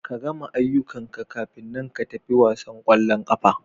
Ka gama aiyukan ka kafina ka fita wasan kwallon kafa.